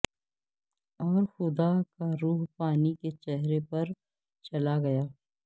اور خدا کا روح پانی کے چہرے پر چلا گیا